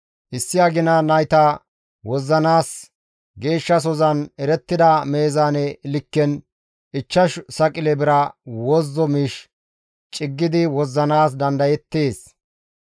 Issi agina nayta wozzanaas geeshshasozan erettida meezaane likken ichchashu saqile bira wozzo miish ciggidi wozzanaas dandayeettes.